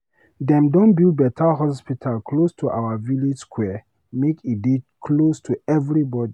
Dem don build beta hospital close to our village square make e dey close to everybodi.